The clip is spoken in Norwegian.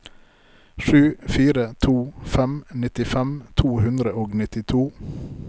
sju fire to fem nittifem to hundre og nittito